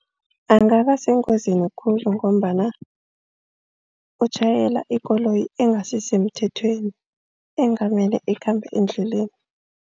Angaba sengozini khulu ngombana utjhayela ikoloyi engasisemthethweni engamele ikhamba endleleni.